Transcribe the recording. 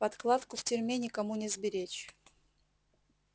подкладку в тюрьме никому не сберечь